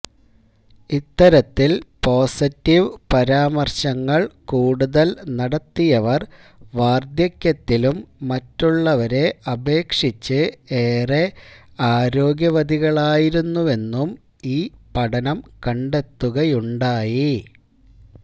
ഇത്തരത്തിൽ പോസിറ്റീവ് പരാമർശങ്ങൾ കൂടുതൽ നടത്തിയവർ വാർധക്യത്തിലും മറ്റുള്ളവരെ അപേക്ഷിച്ച് ഏറെ ആരോഗ്യവതികളായിരുന്നുവെന്നും ഈ പഠനം കണ്ടെത്തുകയുണ്ടായി